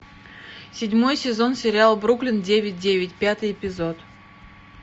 седьмой сезон сериала бруклин девять девять пятый эпизод